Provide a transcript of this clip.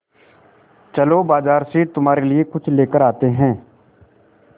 चलो बाज़ार से तुम्हारे लिए कुछ लेकर आते हैं